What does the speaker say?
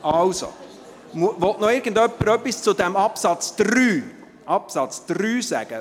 – Also, will noch irgendjemand etwas zu diesem Absatz 3 sagen?